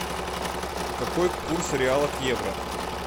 какой курс реала к евро